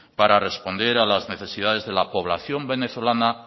para responder a las necesidades de la población venezolana